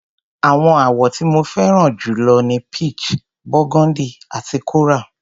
Àwọn àwọ̀ tí mo fẹ́ràn jù lọ ni peach, burgundy àti coral.